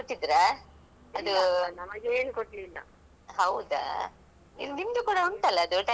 ಹೌದಾ ಹೌದಾ ಈ ನಿಮ್ದು ಕೂಡ ಉಂಟಲ್ಲ ಅದು tailoring ತರಬೇತಿ ಅವ್ರು management ಅದ್ದು separate.